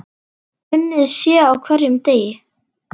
Unnið sé á hverjum degi.